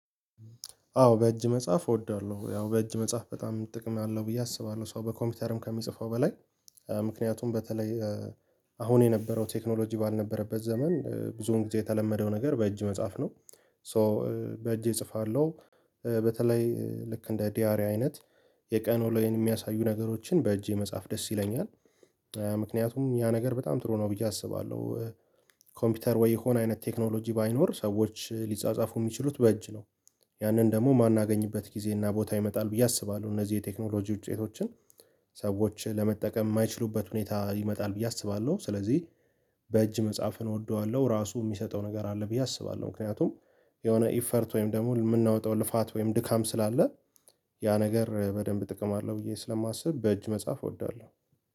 አዎ በእጅ መጻፍ እወዳለሁ። ያው በእጅ መጻፍ በጣም ጥቅም አለው ብዬ አስባለሁ ሰው በኮምፒውተርም ከምጽፈው በላይ። ምክንያቱም በተለይ አሁን የነበረው ቴክኖሎጂ ባልነበረበት ዘመን ብዙን ጊዜ የተለመደው ነገር በእጅ መጻፍ ነው። ሶ በእጄ እጽፋለሁ በተለይ ልክ እንደ ዲያሪ አይነት የቀኑ ወለይን የሚያሳዩ ነገሮችን በእጄ መጻፍ ደስ ይለኛል። ምክንያቱም ያ ነገር በጣም ጥሩ ነው ብዬ አስባለሁ። ኮምፒውተር ወይ የሆነ አይነት ቴክኖሎጂ ባይኖር ሰዎች ሊጻጻፉ የሚችሉት በእጅ ነው። ያንን ደግሞ ማናገኝበት ጊዜ እና ቦታ ይመጣል ብዬ አስባለሁ እነዚህ የቴክኖሎጂ ውጤቶችን ሰዎች ለመጠቀም የማይችሉበት ሁኔታ ይመጣል ብዬ አስባለሁ። ስለዚህ በእጅ መጽሐፍን እወደዋለሁ ራሱ የሚሰጠው ነገር አለ ብዬ አስባለሁ። ምክንያቱም የሆነ ኢፈርት ወይም ደግሞ የምናወጣው ልፋት ወይም ድካም ስላለ ያ ነገር በደንብ ጥቅም አለው ብዬ ስለማስብ በእጅ መጻፍ እወዳለሁ